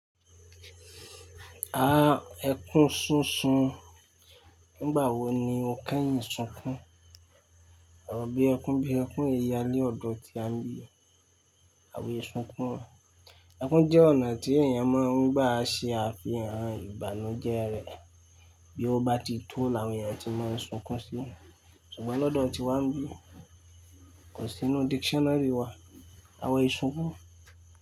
Ah! Ẹkún súnsun, nígbà wo ni ò kẹ́yìn sunkún? Ọrọ bí ẹkún, bíi ẹkún, ọ yalẹ́ ọ̀dọ̀ tí a ń bí àwọn ì sunkún. Ẹkún jẹ́ ọ̀nà tí èèyàn máà ń gbà ṣe àfihàn ìbànújẹ́ rẹ̀. Bí ó bá ti tó l'àwọn èèyàn ti máa ń sunkún si. Ṣùgbọ́n lọ́dọ̀ ti wọ́n bí kò sí nínú dictionary wa àwa ìsunkún.